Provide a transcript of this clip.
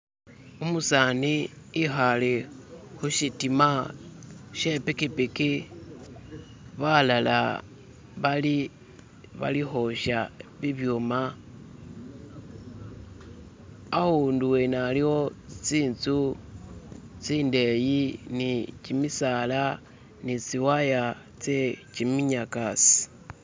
Umusani ikhale khushitima she pikipiki balala bali balikhwosha bibyuma ahundu wene aliwo tsitsu tsindeyi ni kimisala ni tsiwaya tse kiminyakasi.